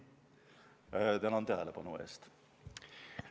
Tänan tähelepanu eest!